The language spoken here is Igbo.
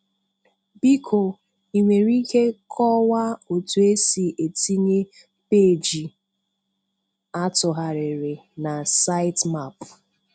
Biko ị nwere ike kọwaa otu esi etinye peeji atugharịrị na Sitemap?